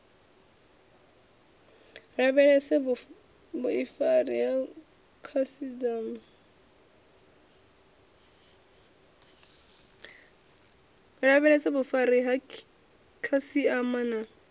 lavhelese vhuifari ha khasiama na